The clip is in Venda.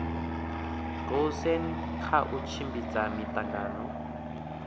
goosen kha u tshimbidza miangano